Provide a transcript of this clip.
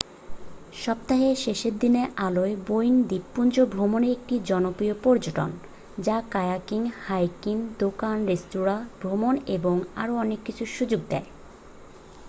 সপ্তাহের শেষে দিনের আলোয় বোয়েন দ্বীপপুঞ্জ ভ্রমণ একটি জনপ্রিয় পর্যটন যা কায়াকিং হাইকিং দোকান-রেস্তোঁরা ভ্রমণ এবং আরও অনেক কিছুর সুযোগ দেয়